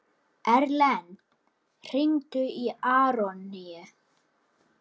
Erlen, hringdu í Aroníu.